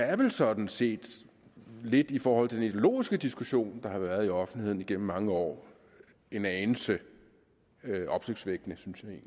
er vel sådan set lidt i forhold til den ideologiske diskussion der har været i offentligheden igennem mange år en anelse opsigtsvækkende synes jeg